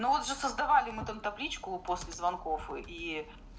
но вот же создавали мы там табличку после звонков ии